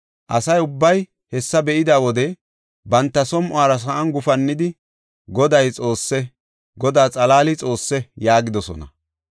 Asa ubbay hessa be7ida wode, banta som7ora sa7an gufannidi, “Goday Xoosse! Godaa xalaali Xoosse!” yaagidosona.